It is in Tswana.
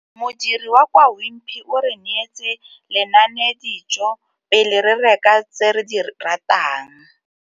Modiri wa kwa Wimpy o re neetse lenanedijô pele re reka tse re di ratang.